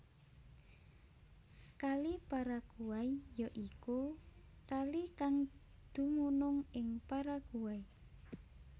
Kali Paraguay ya iku kalikang dumunung ing Paraguay